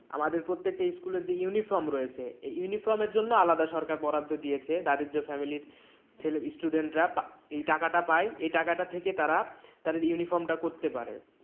আমাদের প্রত্যেকটা school তে uniform রয়েছে এই uniform এর জন্য আলাদা সরকার বরাদ্দ দিয়েছে দারিদ্র family ইর ছেলে student রা পা এই টাকাটা পাই এই টাকাটা থেকে তারা তাদের uniform টা করতে পারে।